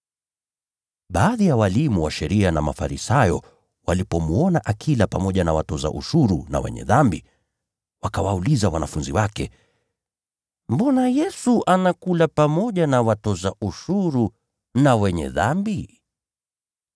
Baadhi ya walimu wa sheria waliokuwa Mafarisayo walipomwona akila pamoja na watoza ushuru na “wenye dhambi,” wakawauliza wanafunzi wake: “Mbona Yesu anakula pamoja na watoza ushuru na ‘wenye dhambi’?”